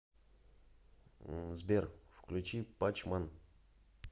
сбер включи пач ман